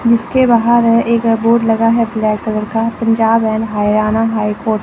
जिसके बाहर है एक बोर्ड लगा है ब्लैक कलर का Punjab and Haryana high court.